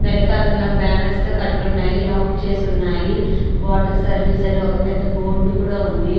వెనకాతల బ్యానర్స్ తో కట్టి ఉన్నాయి. లాక్ చేసి ఉన్నాయి. వాటర్ సర్వీస్ అని ఒక బోర్డు కూడా ఉంది.